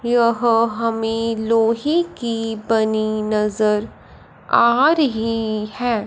यह हमें लोहे की बनी नजर आ रही है।